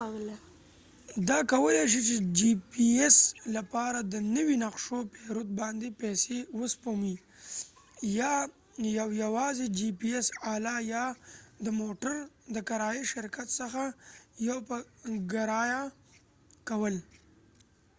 دا کولی شي د جي پي ايس لپاره د نوي نقشو پیرود باندې پیسې وسپموي یا یو يوازي جي پي ايس آله یا د موټر د کرایې شرکت څخه يو په ګرايه کول